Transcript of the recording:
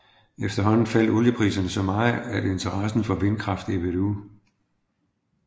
Efterhånden faldt oliepriserne så meget at interessen for vindkraft ebbede ud